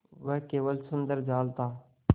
वह केवल सुंदर जाल था